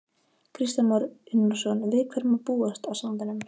Kristján Már Unnarsson: Við hverju má búast á sandinum?